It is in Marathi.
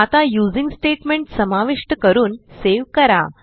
आता यूझिंग स्टेटमेंट समाविष्ट करून सेव्ह करा